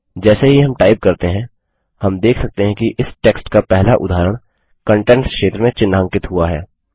जैसे ही हम टाइप करते हैं हम देख सकते हैं कि इस टेक्स्ट का पहला उदाहरण कंटेंट्स क्षेत्र में चिह्नांकित हुआ है